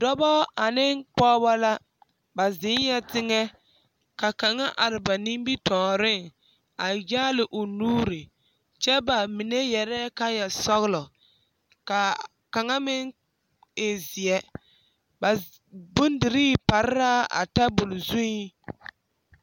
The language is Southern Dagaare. Dɔba ane pɔgeba la ba zeŋɛɛ teŋɛ ka kaŋa are ba nimitɔɔreŋ a yaale o nuuri kyɛ ba mine yɛrɛɛ kaayasɔglɔ ka kaŋa meŋ e zeɛ ba bondirii pare la a tabol zuŋ.